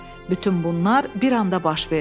Bütün bunlar bir anda baş verdi.